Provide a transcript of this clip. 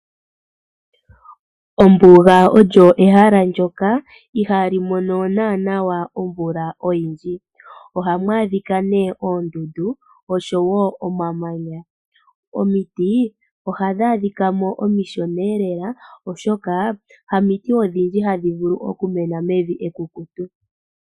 Ombuga olyo ehala ndyoka ihaa li mono naanaa omvula oyindji. Ohamu adhika oondundu oshowoo omamanya. Omiti ohadhi adhikamo omishoneelela oshoka hamiti odhindji hadhi vulu okumena mevi ekukutu.